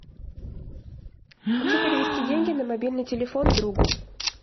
хочу перевести деньги на мобильный телефон другу